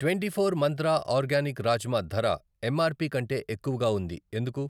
Twenty four Mantra organic rajma ధర MRP కంటే ఎక్కువగా ఉంది ఎందుకు?